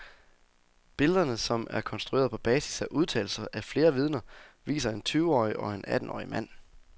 Billederne, som er konstrueret på basis af udtalelser af flere vidner, viser en tyveårig og en attenårig mand.